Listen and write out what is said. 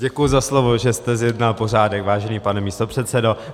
Děkuji za slovo, že jste zjednal pořádek, vážený pane místopředsedo.